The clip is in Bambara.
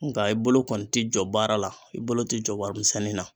Nka i bolo kɔni ti jɔ baara la, i bolo ti jɔ warimisɛnnin na.